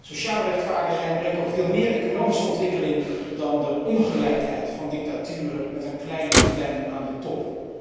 Sociale rechtvaardigheid brengt ook veel meer economische ontwikkeling dan de ongelijkheid van dictaturen met een kleine clan aan de top.